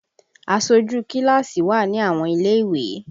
Aṣojú kíláàsì wà ní àwọn ilé ìwé